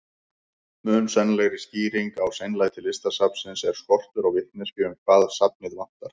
Mun sennilegri skýring á seinlæti Listasafnsins er skortur á vitneskju um hvað safnið vantar.